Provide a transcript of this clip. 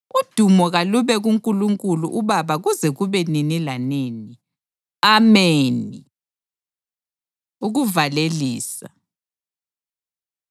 Udumo kalube kuNkulunkulu uBaba kuze kube nini lanini. Ameni. Ukuvalelisa